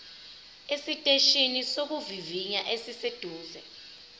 esiteshini sokuvivinya esiseduze